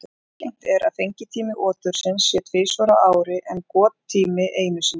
Algengt er að fengitími otursins sé tvisvar á ári en gottími einu sinni.